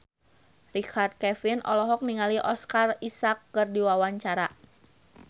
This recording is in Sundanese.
Richard Kevin olohok ningali Oscar Isaac keur diwawancara